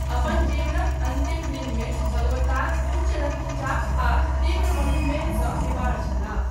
अपन जीवनक अन्तिम दिनमे, भगवतार उच्च रक्तचाप आ तीव्र मधुमेह सँ बीमार छलाह।